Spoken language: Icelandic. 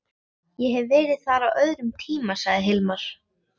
Ég hef verið þar á öðrum tíma, sagði Hilmar.